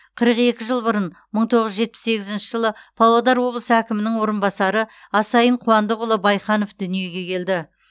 қырық екі жыл бұрын мың тоғыз жүз жетпіс сегізінші жылы павлодар облысы әкімінің орынбасары асаин қуандықұлы байханов дүниеге келді